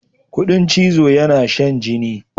Kuɗin chizo yana shan jini.